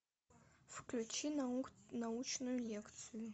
включи научную лекцию